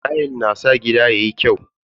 Tayal yana sa gida yayi kyau.